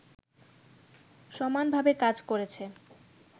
সমানভাবে কাজ করেছে